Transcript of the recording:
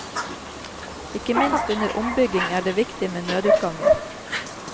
Ikke minst under ombygging er det viktig med nødutganger.